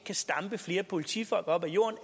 kan stampe flere politifolk op af jorden